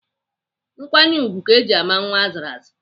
Nkwanye ùgwù ka eji ama nwa azụrụ azụ.